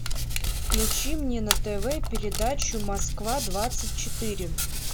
включи мне на тв передачу москва двадцать четыре